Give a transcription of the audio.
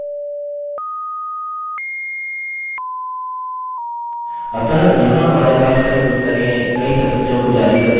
अतः यहाँ हमारे पास कई पुस्तकें कई सदयों को जारी करने का एक उदाहरण है